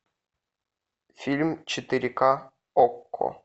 фильм четыре ка окко